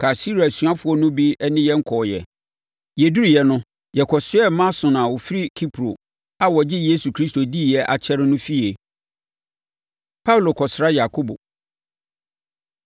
Kaesarea asuafoɔ no bi ne yɛn kɔeɛ. Yɛduruu hɔ no, yɛkɔsoɛɛ Mnason a ɔfiri Kipro a ɔgyee Yesu Kristo diiɛ akyɛre no fie. Paulo Kɔsra Yakobo